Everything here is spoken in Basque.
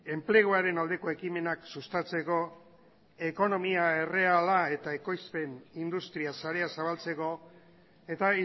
enpleguaren aldeko ekimenak sustatzeko ekonomia erreala eta ekoizpen industria sarea zabaltzeko eta